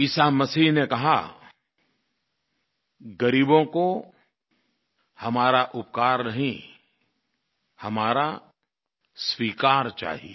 ईसा मसीह ने कहा गरीबों को हमारा उपकार नहीं हमारा स्वीकार चाहिये